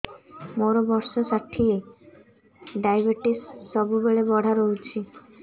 ମୋର ବର୍ଷ ଷାଠିଏ ଡାଏବେଟିସ ସବୁବେଳ ବଢ଼ା ରହୁଛି